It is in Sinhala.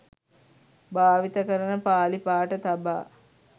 භාවිත කරන පාලි පාඨ තබා